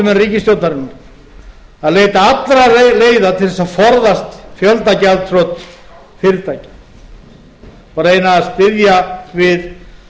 á forustumenn ríkisstjórnarinnar að leita allra leiða til þess að forðast fjöldagjaldþrot fyrirtækja og reyna að styðja við